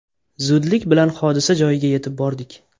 Zudlik bilan hodisa joyiga yetib bordik.